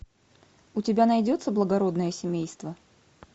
у тебя найдется благородное семейство